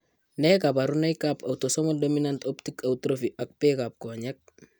Nee kabarunoikab Autosomal dominant optic atrophy ak bekab konyek?